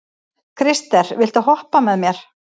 Krister, viltu hoppa með mér?